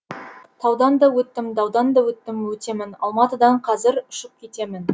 таудан да өттім даудан да өттім өтемін алматыдан қазір ұшып кетемін